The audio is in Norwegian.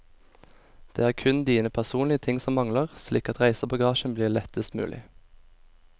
Det er kun dine personlige ting som mangler, slik at reisebagasjen blir lettest mulig.